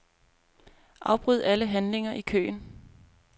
Afbryd alle handlinger i køen.